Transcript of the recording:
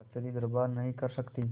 कचहरीदरबार नहीं कर सकती